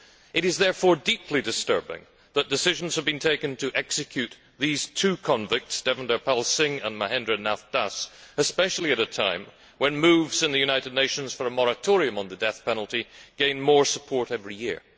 It is therefore deeply disturbing that decisions have been taken to execute the two convicts Davinder Pal Singh and Mahendra Nath Das, especially at a time when moves in the United Nations for a moratorium on the death penalty gain more support every year.